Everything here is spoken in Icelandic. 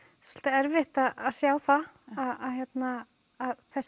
erfitt að sjá það að þessi